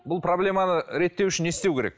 бұл проблеманы реттеу үшін не істеу керек